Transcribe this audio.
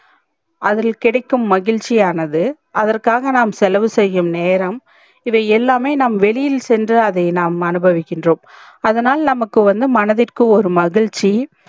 அதில் கிடைக்கும் மகிழ்ச்சி ஆனது அதற்காக நாம் செலவு செய்யும் நேரம் இது எல்லாமே நாம் வெளியில் சென்று நாம் அதை அனுபவிக்ன்றோம் அதனால் நமக்கு வந்து மனதிற்கு ஒரு மகிழ்ச்சி